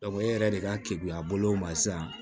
e yɛrɛ de ka keguya bolo ma sisan